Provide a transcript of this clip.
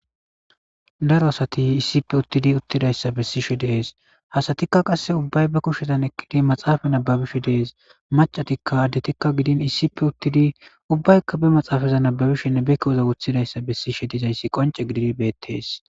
Daro asati issippe uttidi uttidayssa bessishe dees hasatikka qasse ubbay be kushetan ekkidi maxaafa nababishe dees macatikka addetikka gidin iissipe uttidi ubbaykka be maxaafaza nababishenne bekkewoza wuthidayssa bessishe dizayssi qonce gididi beettees.